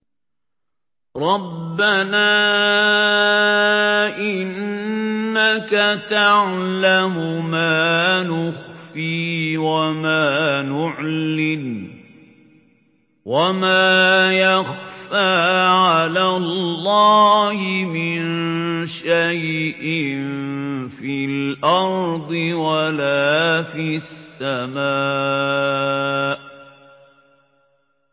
رَبَّنَا إِنَّكَ تَعْلَمُ مَا نُخْفِي وَمَا نُعْلِنُ ۗ وَمَا يَخْفَىٰ عَلَى اللَّهِ مِن شَيْءٍ فِي الْأَرْضِ وَلَا فِي السَّمَاءِ